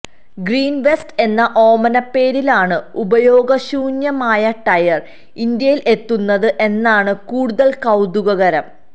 green waste എന്ന ഓമനപ്പേരിലാണ് ഉപയോഗ ശൂന്യമായ ടയര് ഇന്ത്യയില് എത്തുന്നത് എന്നതാണ് കൂടുതല് കൌതുകകരം